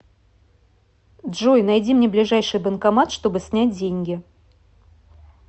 джой найди мне ближайший банкомат чтобы снять деньги